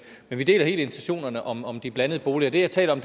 vi deler helt intentionerne om om de blandede boliger det jeg taler om